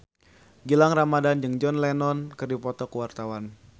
Gilang Ramadan jeung John Lennon keur dipoto ku wartawan